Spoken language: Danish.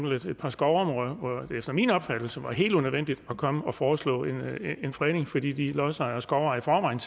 et par skovområder hvor det efter min opfattelse var helt unødvendigt at komme og foreslå en fredning fordi de lodsejere skovejere i